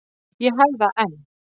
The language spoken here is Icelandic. Ég hef það enn.